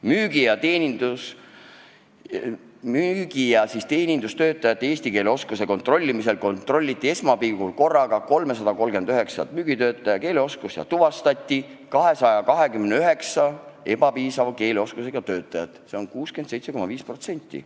Müügi- ja teenindustöötajate eesti keele oskuse kontrollimisel kontrolliti 339 müügitöötaja keeleoskust ja tuvastati 229 ebapiisava keeleoskusega töötajat, see on 67,5%.